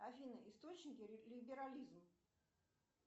афина источники либерализм